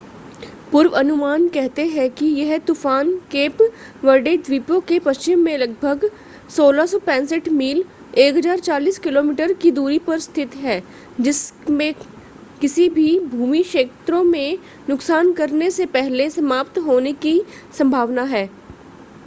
पूर्वानुमान कहते हैं कि यह तूफ़ान केप वर्डे द्वीपों के पश्चिम में लगभग 645 मील 1040 किमी की दूरी पर स्थित है जिसके किसी भी भूमि क्षेत्रों में नुकसान करने से पहले समाप्त होने की संभावना है